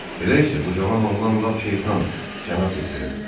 Elə isə bu cavan oğlan lap şeytandır, cənab de Trevil.